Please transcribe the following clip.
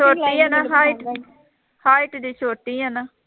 ਛੋਟੀ ਹੈ ਨਾ height height ਵੀ ਛੋਟੀ ਹੈ ਨਾ